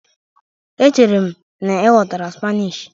Echere m na ị ghọtara Spanish?